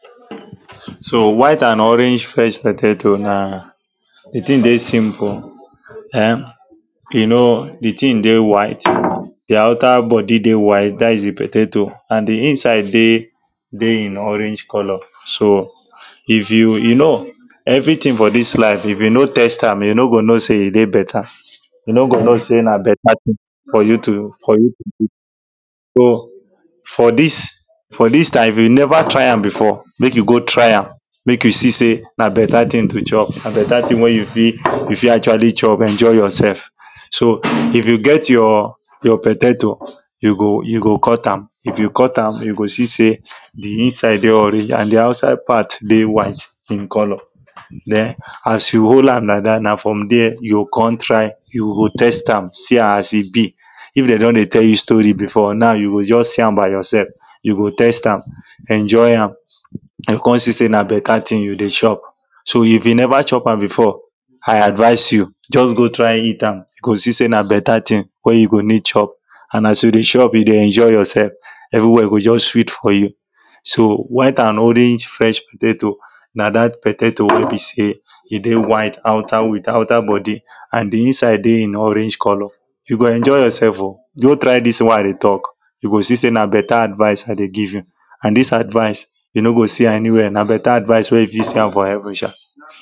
so white and orange fresh potato na the thing dey simple e?m you know the thing dey white the outer body dey white that is the potato and the inside dey dey in orange colour so if you you know everything for this life if you no test am you no go know say e dey better you no go know say na better thing for you to for you so for this for this type if you never try am before make you go try am make you see say na better thing to chop na better thing wey you fit you fit actually chop enjoy yourself so if you get your your potato you go you go cut am if you cut am you go see say the inside dey orange and the outside part dey white in colour then as you hold am like that na from there you go come try you go test am see am as e be if them do?n dey tell you story before now you go just see am by yourself you go test am enjoy am and you come see say na better thing you dey chop so if you never chop am before i advise you just go try eat am you go see say na better thing wey you go dey chop and as you dey chop you dey enjoy yourself everywhere go just sweet for you so white and orange fresh potato na that potato wey be say e dey white outer with outer body and the inside dey in orange colour you go enjoy yourself o go try this thing wey i dey talk you go see say na better advice i dey give you and this advice you no know go see am anywhere na better advice wey you fit see am for heaven sha